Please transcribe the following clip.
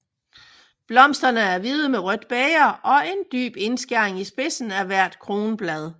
Blomsterne er hvide med rødt bæger og en dyb indskæring i spidsen af hvert kronblad